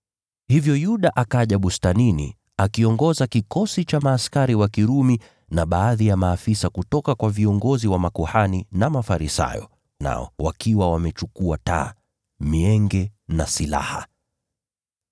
Hivyo Yuda akaja bustanini. Aliongoza kikosi cha askari wa Kirumi, na baadhi ya maafisa kutoka kwa viongozi wa makuhani na Mafarisayo. Nao walikuwa wamechukua taa, mienge na silaha.